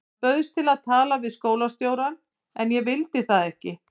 Hann bauðst til að tala við skólastjórann en ég vildi það ekki.